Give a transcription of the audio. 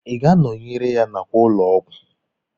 Ị ga-anọnyere ya n'àkwà ụlọ ọgwụ?